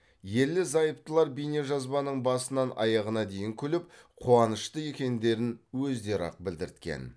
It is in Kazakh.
ерлі зайыптылар бейнежазбаның басынан аяғына дейін күліп қуанышты екендерін өздері ақ білдірткен